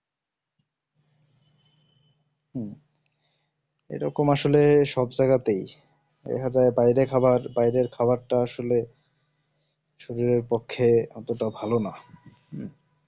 হম এরকম আসলেই সব জায়গাতেই দেখা যায় বাইরের খাওয়ার বাইরের খাবারটা আসলেই শরীর এর পক্ষে এতটাও ভালো না হম